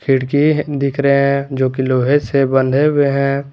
खीड़की दिख रहे हैं जो की लोहे से बंधे हुए हैं।